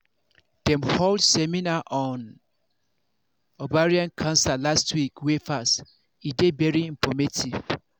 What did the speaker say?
dem hold seminar on ovarian cancer last week week wey pass e dey very informative